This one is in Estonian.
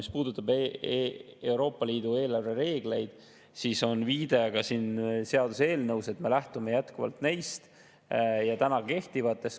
Mis puudutab Euroopa Liidu eelarvereegleid, siis on viide ka siin seaduseelnõus, et me jätkuvalt lähtume neist täna kehtivatest.